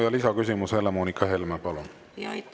Ja lisaküsimus, Helle-Moonika Helme, palun!